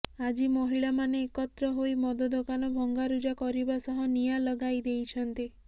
ଆଜି ମହିଳାମାନେ ଏକତ୍ର ହୋଇ ମଦ ଦୋକାନ ଭଙ୍ଗାରୁଜା କରିବା ସହ ନିଆଁ ଲଗାଇ ଦେଇଛନ୍ତି